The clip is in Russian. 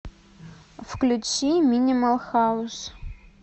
включи минимал хаус